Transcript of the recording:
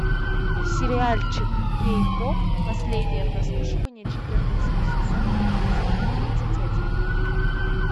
сериальчик кей поп последнее прослушивание четырнадцатый сезон эпизод тридцать один